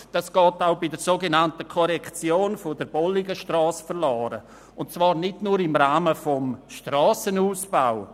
Kulturland geht auch bei der sogenannten Korrektion der Bolligenstrasse verloren und zwar nicht nur im Rahmen des Strassenausbaus.